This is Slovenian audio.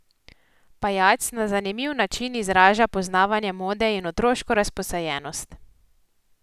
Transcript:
Pajac na zanimiv način izraža poznavanje mode in otroško razposajenost.